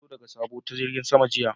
Na zo daga sabo ta jirigin sama jiya.